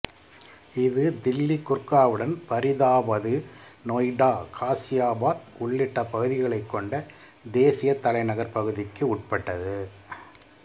இது தில்லி குர்காவுன் பரிதாபாது நொய்டா காசியாபாத் உள்ளிட்ட பகுதிகளைக் கொண்ட தேசிய தலைநகர் பகுதிக்கு உட்பட்டது